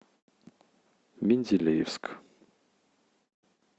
менделеевск